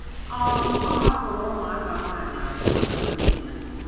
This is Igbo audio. um Ọ hapụrụ ụmụaka nwanyị abụọ na nwunye ya.